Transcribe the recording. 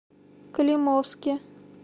климовске